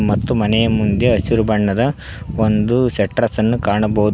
ಮತ್ತು ಮನೆಯ ಮುಂದೆ ಹಸಿರು ಬಣ್ಣದ ಒಂದು ಶಟ್ಟರ್ಸ್ಅನ್ನು ಕಾಣಬಹುದು.